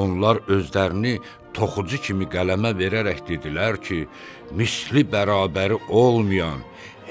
Onlar özlərini toxucu kimi qələmə verərək dedilər ki, misli bərabər olmayan,